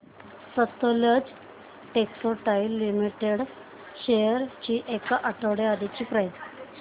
Sutlej textiles limited shares ची एक आठवड्या आधीची प्राइस